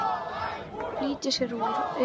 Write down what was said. Flýtir sér úr augsýn.